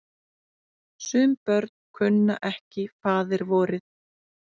Sum börn kunnu ekki faðirvorið.